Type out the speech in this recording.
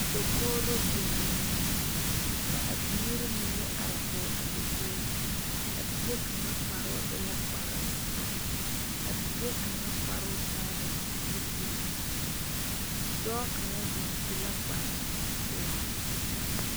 Dakogro biŋe la ka a biiri mine are kɔŋ a dakogro a bie kaŋa kpare e la kpare ziɛ a bie kaŋa kparo taa la zupele dɔɔ kaŋa zeŋ su la kpare pelaa.